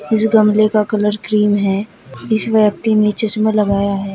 इस गमले का कलर क्रीम है इस व्यक्ति ने चश्मा लगाया है।